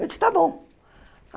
Eu disse, tá bom.